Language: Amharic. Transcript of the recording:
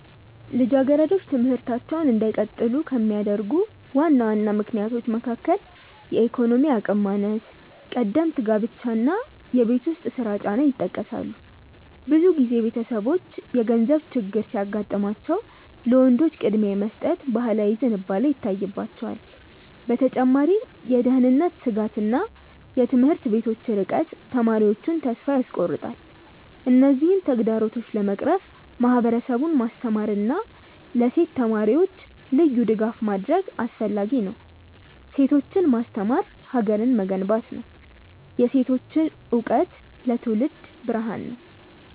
ልጃገረዶች ትምህርታቸውን እንዳይቀጥሉ ከሚያደርጉ ዋና ዋና ምክንያቶች መካከል የኢኮኖሚ አቅም ማነስ፣ ቀደምት ጋብቻ እና የቤት ውስጥ ስራ ጫና ይጠቀሳሉ። ብዙ ጊዜ ቤተሰቦች የገንዘብ ችግር ሲያጋጥማቸው ለወንዶች ቅድሚያ የመስጠት ባህላዊ ዝንባሌ ይታይባቸዋል። በተጨማሪም የደህንነት ስጋትና የትምህርት ቤቶች ርቀት ተማሪዎቹን ተስፋ ያስቆርጣል። እነዚህን ተግዳሮቶች ለመቅረፍ ማህበረሰቡን ማስተማርና ለሴት ተማሪዎች ልዩ ድጋፍ ማድረግ አስፈላጊ ነው። ሴቶችን ማስተማር ሀገርን መገንባት ነው። የሴቶች እውቀት ለትውልድ ብርሃን ነው።